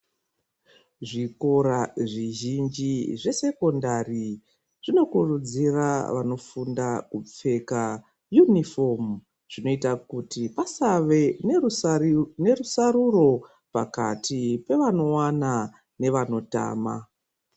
Zvikora zvizhinji zvesekondari zvinokurudzira vanofunda kupfeka uniform zvinoita kuti pasave nerusaruro pakati pevanowana nevanotama.